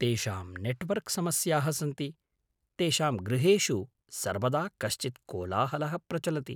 तेषां नेट्वर्क् समस्याः सन्ति, तेषां गृहेषु सर्वदा कश्चित् कोलाहलः प्रचलति।